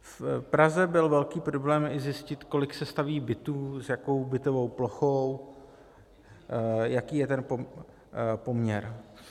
V Praze byl velký problém i zjistit, kolik se staví bytů, s jakou bytovou plochou, jaký je ten poměr.